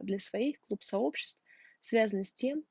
для своих клуб сообществ связано с тем